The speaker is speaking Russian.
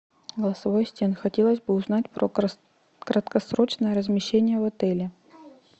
голосовой ассистент хотелось бы узнать про краткосрочное размещение в отеле